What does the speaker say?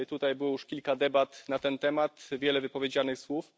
Tutaj było już kilka debat na ten temat, wiele wypowiedzianych słów.